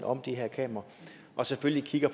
om de her kameraer og selvfølgelig kigger